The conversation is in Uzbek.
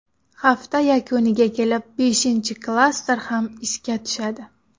Hafta yakuniga kelib beshinchi klaster ham ishga tushadi.